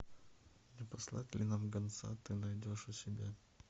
не послать ли нам гонца ты найдешь у себя